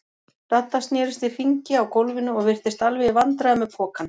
Dadda snerist í hringi á gólfinu og virtist alveg í vandræðum með pokann.